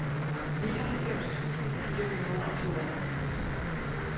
nioghalvfems tusind fire hundrede og fjorten